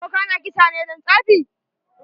Boka na kisa ne don tsafi?